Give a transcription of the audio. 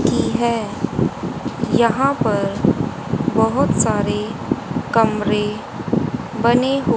की है यहां पर बहोत सारे कमरे बने हु--